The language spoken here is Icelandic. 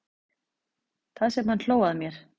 Það sem hann hló að mér.